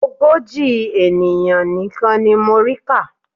Ogójì ènìyàn nìkan ni mo rí kà